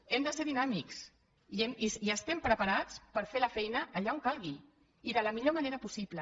hem de ser dinàmics i estem preparats per fer la feina allà on calgui i de la millor manera possible